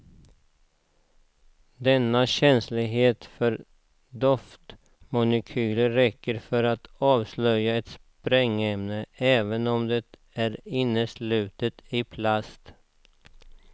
Denna känslighet för doftmolekyler räcker för att avslöja ett sprängämne även om det är helt inneslutet i plast.